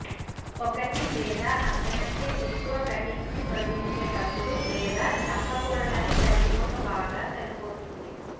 ఒకటి లేదా అంతకంటే ఎక్కువ కట్టింగ్ను తొలగించేటప్పుడు లేదా చంపకూడదని తల్లి మొక్క బాగా సరిపోతుంది